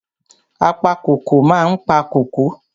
Apa kóko ma ń pa kóko.